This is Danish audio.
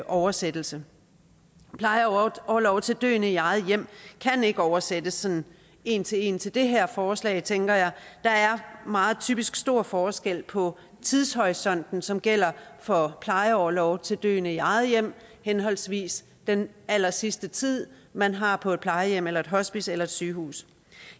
oversættelse plejeorlov til døende i eget hjem kan ikke oversættes sådan en til en til det her forslag tænker jeg der er meget typisk stor forskel på tidshorisonten som gælder for plejeorlov til døende i eget hjem henholdsvis den allersidste tid man har på et plejehjem eller et hospice eller et sygehus